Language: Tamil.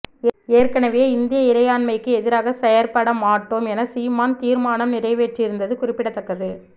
ஏற்கனவே இந்திய இறையாண்மைக்கு எதிராகச் செயற்படமாட்டோம் என சீமான் தீர்மானம் நிறைவேற்றியிருந்தது குறிப்பிடத்தக்கது